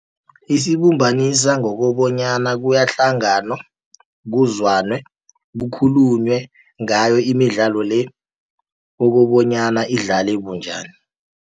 Isibumbanisa ngokobonyana kuyahlanganwa kuzwane, kukhulunywe ngayo imidlalo le kokobonyana idlale bunjani.